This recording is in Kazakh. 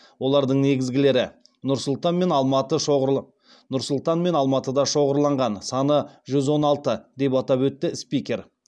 олардың негізгілері нұр сұлтан мен алматыда шоғырланған саны жүз он алты деп атап өтті спикер